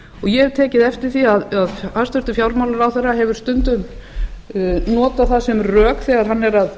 ég hef tekið eftir því að hæstvirtur fjármálaráðherra hefur stundum notað það sem rök þegar hann er að